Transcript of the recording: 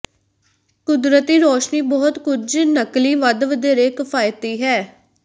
ਕੁਦਰਤੀ ਰੋਸ਼ਨੀ ਬਹੁਤ ਕੁਝ ਨਕਲੀ ਵੱਧ ਵਧੇਰੇ ਕਿਫ਼ਾਇਤੀ ਹੈ